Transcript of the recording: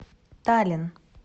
таллин